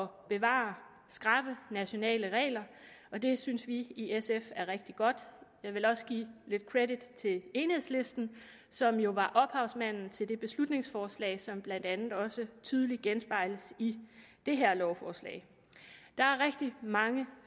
bevare skrappe nationale regler og det synes vi i sf er rigtig godt jeg vil også give lidt credit til enhedslisten som jo var ophavsmanden til det beslutningsforslag som blandt andet også tydeligt genspejles i det her lovforslag der er rigtig mange